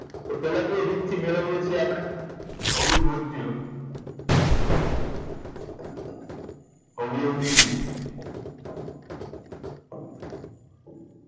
તો પેલા કઈ રીત થી મેળવીએ છીએ આપડે અવિભાજ્ય અવયવ ની રીત